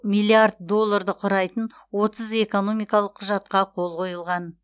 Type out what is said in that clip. миллиард долларды құрайтын отыз экономикалық құжатқа қол қойылған